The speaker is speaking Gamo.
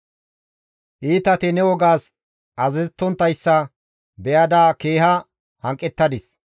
Iitati ne wogas azazettonttayssa be7ada keeha hanqettadis.